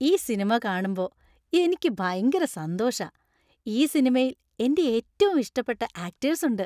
ഈ സിനിമ കാണുമ്പോ എനിക്ക് ഭയങ്കര സന്തോഷാ. ഈ സിനിമയിൽ എന്‍റെ ഏറ്റവും ഇഷ്ടപ്പെട്ട ആക്ടേഴ്‌സ് ഉണ്ട്.